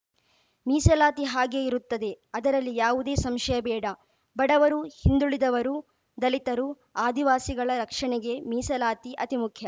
ಮೀಸಲಾತಿ ಹಾಗೇ ಇರುತ್ತದೆ ಅದರಲ್ಲಿ ಯಾವುದೇ ಸಂಶಯ ಬೇಡ ಬಡವರು ಹಿಂದುಳಿದವರು ದಲಿತರು ಆದಿವಾಸಿಗಳ ರಕ್ಷಣೆಗೆ ಮೀಸಲಾತಿ ಅತಿ ಮುಖ್ಯ